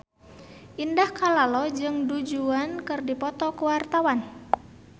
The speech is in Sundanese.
Indah Kalalo jeung Du Juan keur dipoto ku wartawan